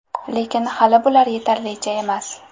Lekin, hali bular yetarlicha emas.